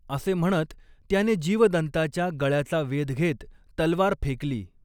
असे म्हणत त्याने जीवदन्ताच्या गळयाचा वेध घेत तलवार फेकली.